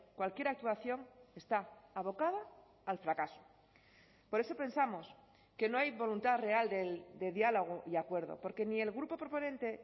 cualquier actuación está abocada al fracaso por eso pensamos que no hay voluntad real de diálogo y acuerdo porque ni el grupo proponente